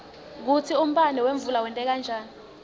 kutsi umbane wemvula wenteka njani